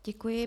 Děkuji.